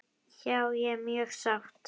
Já ég er mjög sátt.